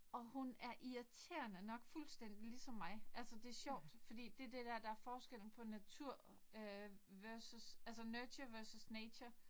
Og hun er irriterende nok fuldstændig ligesom mig. Altså det er sjovt fordi det det der der er forskellen på natur øh versus altså nurture versus nature